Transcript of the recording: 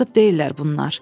Kasıb deyillər bunlar.